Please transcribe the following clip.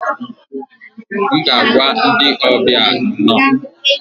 M ga-agwa ndị ọbịa 'nno'